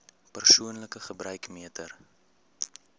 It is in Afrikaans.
persoonlike gebruik meter